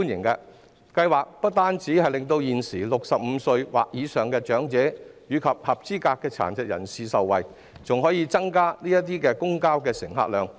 該計劃不單令現時65歲或以上的長者及合資格殘疾人士受惠，還可以增加公共交通乘客量。